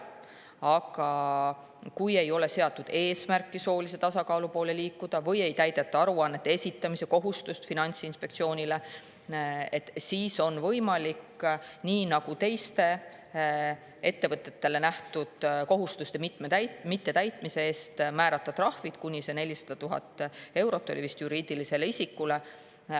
Aga kui ei seata eesmärki soolise tasakaalu poole liikuda või ei täideta Finantsinspektsioonile aruannete esitamise kohustust, siis on võimalik, nii nagu teiste ettevõtetele ette nähtud kohustuste mittetäitmise eest, määrata juriidilisele isikule rahatrahv kuni 400 000 eurot.